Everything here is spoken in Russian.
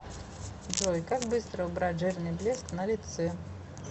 джой как быстро убрать жирный блеск на лице